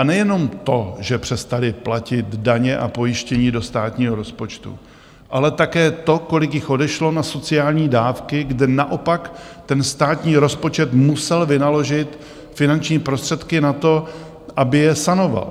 A nejenom to, že přestali platit daně a pojištění do státního rozpočtu, ale také to, kolik jich odešlo na sociální dávky, kde naopak ten státní rozpočet musel vynaložit finanční prostředky na to, aby je sanoval.